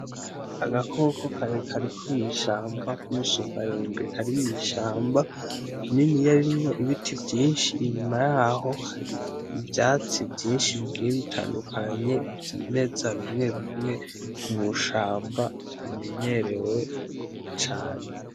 Agakoko karekare ko mw'ishamba k'umusumbarembe , kari mw'ishamba ,rininiya ririmwo ibiti vyinshi ,inyuma yaho hari ivyatsi vyinshi bigiye bitandukanye, vyimeza bimwe bimwe mushamba bimenyerewe cane.